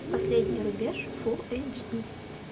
последний рубеж фулл эйч ди